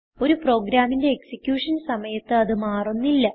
ഒരു പ്രോഗ്രാമിന്റെ എക്സിക്യൂഷൻ സമയത്ത് അത് മാറുന്നില്ല